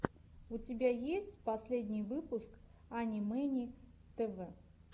у тебя есть последний выпуск ани мэни тв